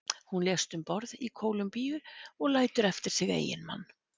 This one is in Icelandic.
Hún lést um borð í Kólumbíu og lætur eftir sig eiginmann.